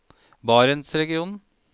barentsregionen